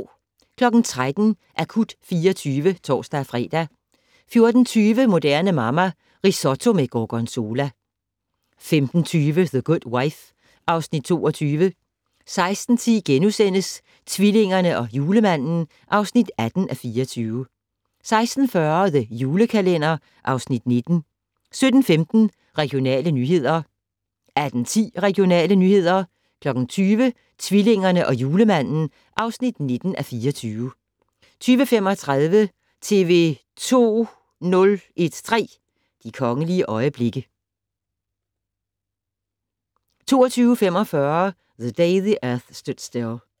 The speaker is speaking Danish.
13:00: Akut 24 (tor-fre) 14:20: Moderne Mamma - Risotto med gorgonzola 15:20: The Good Wife (Afs. 22) 16:10: Tvillingerne og Julemanden (18:24)* 16:40: The Julekalender (Afs. 19) 17:15: Regionale nyheder 18:10: Regionale nyheder 20:00: Tvillingerne og Julemanden (19:24) 20:35: TV 2 013: De kongelige øjeblikke 22:45: The Day the Earth Stood Still